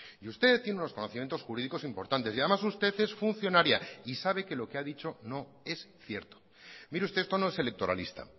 y usted tiene unos conocimientos jurídicos importantes y además usted es funcionaria y sabe que lo que ha dicho no es cierto mire usted esto no es electoralista